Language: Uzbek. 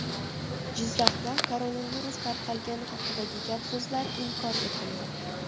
Jizzaxda koronavirus tarqalgani haqidagi gap-so‘zlar inkor etildi.